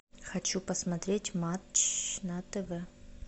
хочу посмотреть матч на тв